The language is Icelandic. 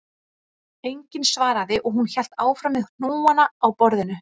Enginn svaraði og hún hélt áfram með hnúana á borðinu